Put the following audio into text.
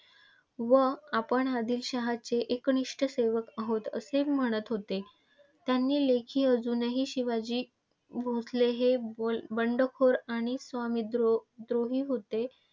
व आपण आदिलशहाचे एकनिष्ठ सेवक आहोत असे म्हणत होते. त्यांच्या लेखी अजूनही शिवाजी भोसले हे बोलबंडखोर आणि स्वामी देशद्रोही होते.